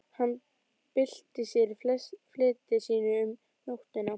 Hann bylti sér í fleti sínu um nóttina.